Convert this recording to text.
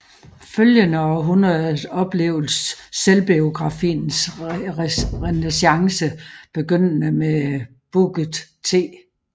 Følgende århundrede oplevedes selvbiografiens renæssance begyndende med Booker T